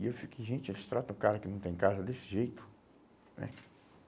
E eu fico, gente, eles tratam o cara que não tem casa desse jeito, né?